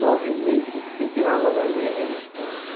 Nove meses sem sem tirar ela dali, meu irmão.